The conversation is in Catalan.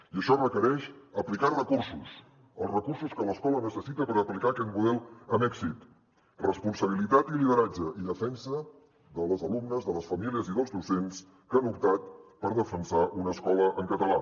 i això requereix aplicar recursos els recursos que l’escola necessita per aplicar aquest model amb èxit responsabilitat i lideratge i defensa de les alumnes de les famílies i dels docents que han optat per defensar una escola en català